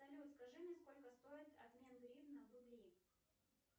салют скажи мне сколько стоит обмер гривна в рубли